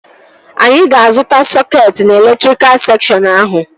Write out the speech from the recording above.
Anyị ga-azụta sọketi na elektrika sekshọn ahụ